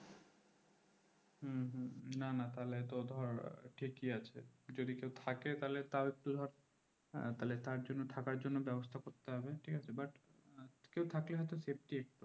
না না তাহলে তো ঠিকই আছে যদি কেও থেকে তার জন্য থাকার জন্য ব্যবস্থা করতে হবে ঠিক আছে but কেও থাকলে safety